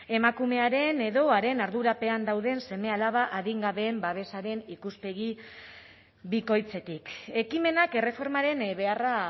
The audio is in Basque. emakumearen edo haren ardurapean dauden seme alaba adingabeen babesaren ikuspegi bikoitzetik ekimenak erreformaren beharra